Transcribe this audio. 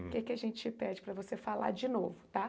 hum, O que que a gente pede para você falar de novo, tá?